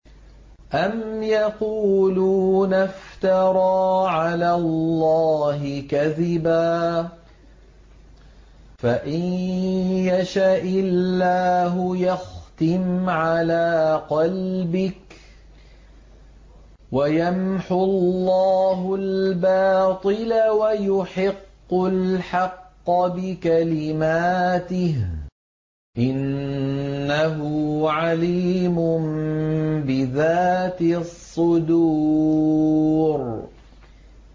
أَمْ يَقُولُونَ افْتَرَىٰ عَلَى اللَّهِ كَذِبًا ۖ فَإِن يَشَإِ اللَّهُ يَخْتِمْ عَلَىٰ قَلْبِكَ ۗ وَيَمْحُ اللَّهُ الْبَاطِلَ وَيُحِقُّ الْحَقَّ بِكَلِمَاتِهِ ۚ إِنَّهُ عَلِيمٌ بِذَاتِ الصُّدُورِ